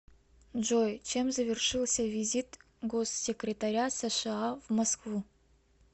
джой чем завершился визит госсекретаря сша в москву